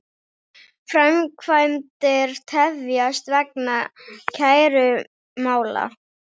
Framkvæmdir tefjast vegna kærumála